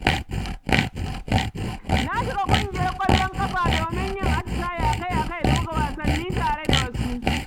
Na shiga ƙungiyar ƙwallon ƙafa domin yin atisaye akai-akai da buga wasanni tare da wasu.